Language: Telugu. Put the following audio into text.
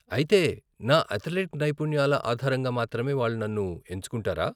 అయితే, నా అథ్లెట్ నైపుణ్యాల ఆధారంగా మాత్రమే వాళ్ళు నన్ను ఎంచుకుంటారా?